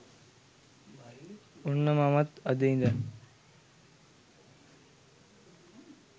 ඔන්න මමත් අද ඉදන්